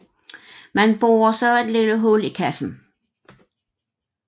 Man borer så et lille hul i kassen